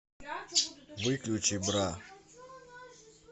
выключи бра